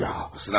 Sıxılmısan?